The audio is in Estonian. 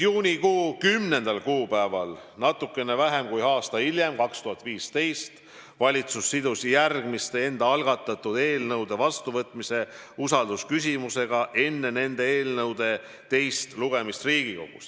Juunikuu 10. kuupäeval natuke vähem kui aasta hiljem, 2015. aastal, valitsus sidus järgmiste enda algatatud eelnõude vastuvõtmise usaldusküsimusega enne nende eelnõude teist lugemist Riigikogus.